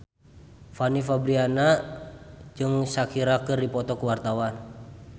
Fanny Fabriana jeung Shakira keur dipoto ku wartawan